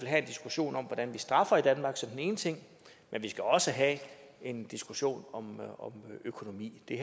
have en diskussion om hvordan vi straffer i danmark som den ene ting men vi skal også have en diskussion om økonomi det